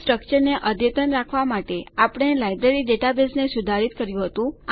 તો સ્ટ્રકચરને અદ્યતન રાખવાં માટે આપણે લાઈબ્રેરી ડેટાબેઝને સુધારિત કર્યું હતું